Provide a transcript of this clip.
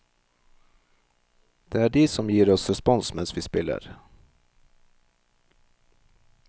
Det er de som gir oss respons mens vi spiller.